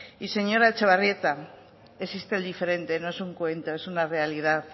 y señora etxebarrieta existe el diferente no es un cuento es una realidad